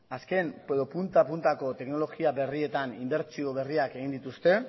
azken edo punta puntako teknologia berrietan inbertsio berriak egin dituzte